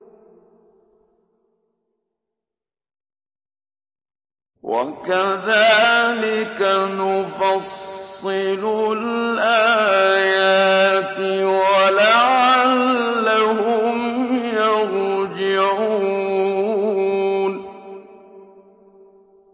وَكَذَٰلِكَ نُفَصِّلُ الْآيَاتِ وَلَعَلَّهُمْ يَرْجِعُونَ